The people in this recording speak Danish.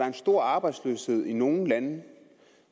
en stor arbejdsløshed i nogle lande